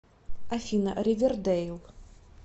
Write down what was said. афина ривер дейл